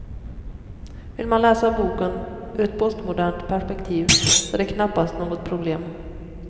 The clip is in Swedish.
Vill man läsa boken ur ett postmodernt perspektiv, så är det knappast något problem.